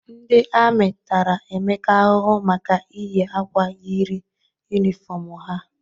Ndị amị tara Emeka ahụhụ maka iyi akwa yiri yunifọmụ ha.